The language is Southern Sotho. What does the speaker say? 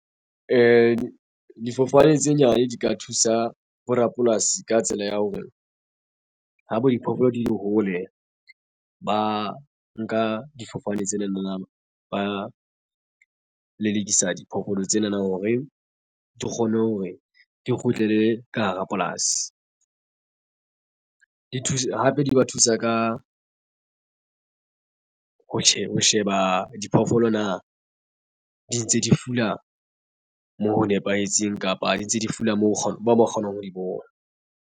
Difofane tse nyane di ka thusa bo rapolasi ka tsela ya hore ha bo diphoofolo di le hole ba nka difofane tsena na ba lelekisa diphoofolo tsena na hore di kgone hore di kgutlele ka hara polasi di thusa hape di ba thusa ka ho sheba diphoofolo na di ntse di fula moo ho nepahetseng kapa di ntse di fula moo ba kgona ho mo kgonang ho di bona.